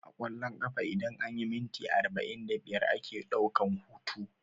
A ƙwallon ƙafa idan anyi minti arba'in da biyar ake ɗaukan hutu